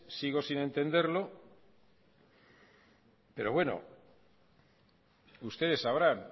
sigo sin entenderlo pero bueno ustedes sabrán